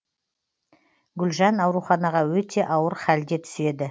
гүлжан ауруханаға өте ауыр халде түседі